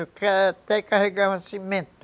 Eu até carregava cimento.